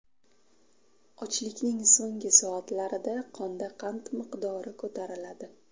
Ochlikning so‘nggi soatlarida qonda qand miqdori ko‘tariladi.